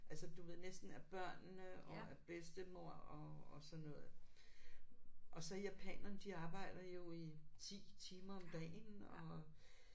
Altså du ved næsten af børnene og af bedstemor og og sådan noget og så japanerne de arbejder jo i 10 timer om dagen og